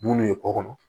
Bulu ye kɔkɔ